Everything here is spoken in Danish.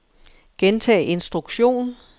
gentag instruktion